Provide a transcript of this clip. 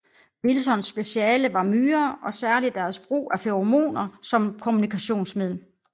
Wilsons speciale var myrer og særligt deres brug af feromoner som kommunikationsmiddel